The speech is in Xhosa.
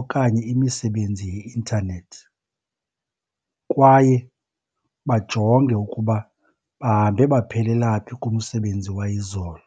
okanye imisebenzi yeintanethi kwaye bajonge ukuba bahambe baphelela phi kumsebenzi wayizolo.